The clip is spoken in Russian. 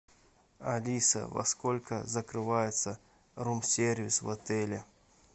алиса во сколько закрывается рум сервис в отеле